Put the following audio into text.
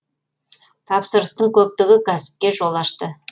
тапсырыстың көптігі кәсіпке жол ашты